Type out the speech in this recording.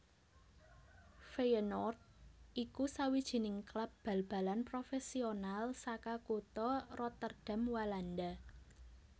Feyenoord iku sawijining klub bal balan profésional saka kutha Rotterdam Walanda